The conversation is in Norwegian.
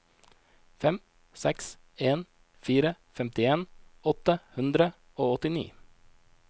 fem seks en fire femtien åtte hundre og åttini